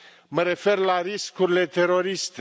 Mă refer la riscurile teroriste.